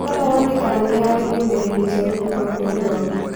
Rora wone kana nĩ harĩ ndũmĩrĩri njerũ kuuma kũrĩ baba.